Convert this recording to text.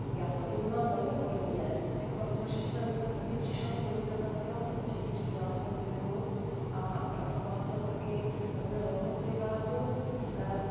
Já to vnímám velmi podobně i proto, že jsem taky přišla z podnikatelského prostředí, řídila jsem firmu a pracovala jsem taky hodně dlouho v privátní sféře.